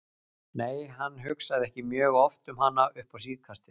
Nei, hann hugsaði ekki mjög oft um hana upp á síðkastið.